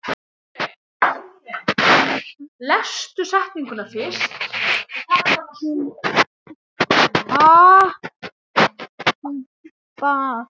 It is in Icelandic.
Hann átti tvö börn.